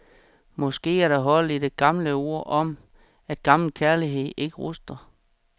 Måske er der hold i det gamle ord om, at gammel kærlighed ikke ruster.